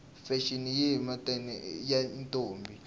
fashini yihhetamaie yatintombi